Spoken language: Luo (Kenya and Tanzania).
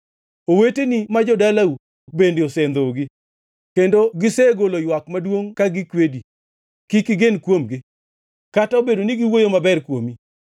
Oweteni ma jo-dalau bende osendhogi; kendo gisegolo ywak maduongʼ ka gikwedi. Kik igen kuomgi, kata obedo ni giwuoyo maber kuomi.